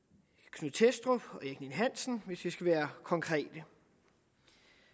knud thestrup og erik ninn hansen hvis vi skal være konkrete